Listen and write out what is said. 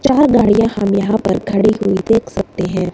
चार गाड़ियां हम यहां पर खड़ी हुई देख सकते हैं।